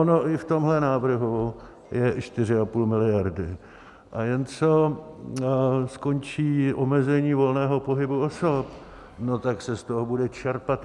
Ono i v tomhle návrhu je 4,5 miliardy, a jen co skončí omezení volného pohybu osob, tak se z toho bude čerpat.